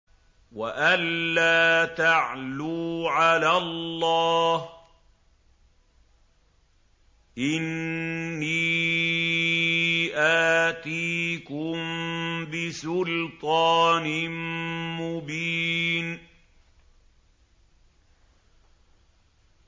وَأَن لَّا تَعْلُوا عَلَى اللَّهِ ۖ إِنِّي آتِيكُم بِسُلْطَانٍ مُّبِينٍ